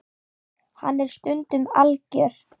Hann er stundum algjör.